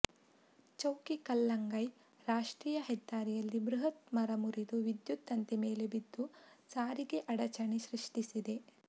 ಚೌಕಿ ಕಲ್ಲಂಗೈ ರಾಷ್ಟ್ರೀಯ ಹೆದ್ದಾರಿಯಲ್ಲಿ ಬೃಹತ್ ಮರ ಮುರಿದು ವಿದ್ಯುತ್ ತಂತಿ ಮೇಲೆ ಬಿದ್ದು ಸಾರಿಗೆ ಅಡಚಣೆ ಸೃಷ್ಟಿಸಿದೆ